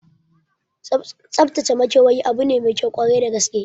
Tsaftace makewayi abu ne maikyau kwarai da gaske